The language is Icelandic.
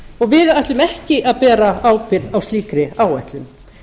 og við ætlum ekki að bera ábyrgð á slíkri áætlun